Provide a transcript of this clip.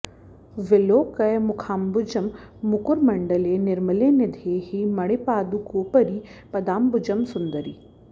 विलोकय मुखाम्बुजं मुकुरमण्डले निर्मले निधेहि मणिपादुकोपरि पदाम्बुजं सुन्दरि